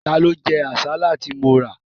Ta ló jẹ àsálà tí mo rà?